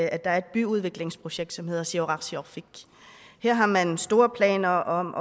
er et byudviklingsprojekt som hedder siorarsiorfik her har man store planer om